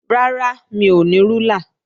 Rárá, mi ò ní rúlà